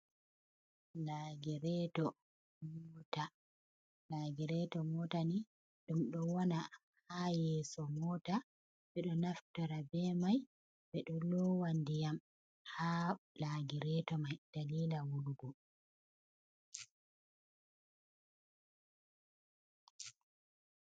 Laagireeto moota ni ɗum ɗo wona haa yeeso moota, ɓe ɗo naftira bee may ɓe ɗo loowa ndiyam haa laagireeto mai daliila wulugo.